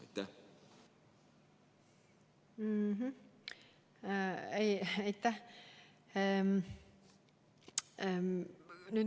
Aitäh!